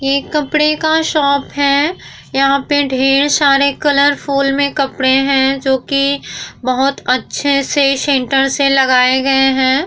ये कपड़े का शॉप है यहाँ पे ढेर सारे कलरफुल में कपड़े हैं जो कि बहुत अच्छे से सेंटर से लगाए गए हैं ।